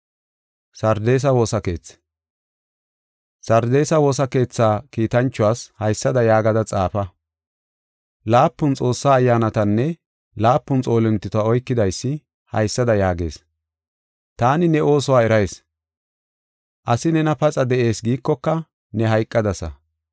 “Sardeesa woosa keetha kiitanchuwas haysada yaagada xaafa. Laapun Xoossaa ayyaanatanne laapun xoolintota oykidaysi haysada yaagees: Taani ne oosuwa erayis; asi nena paxa de7ees giikoka, ne hayqadasa.